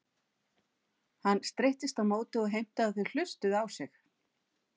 Hann streittist á móti og heimtaði að þau hlustuðu á sig.